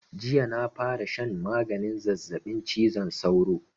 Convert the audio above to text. Jiya na fara shan maganin zazzaɓin cizon sauro